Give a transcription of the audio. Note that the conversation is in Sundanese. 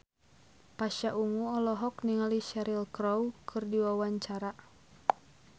Pasha Ungu olohok ningali Cheryl Crow keur diwawancara